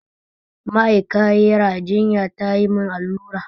Ma'aikayira jinya tayi mun allura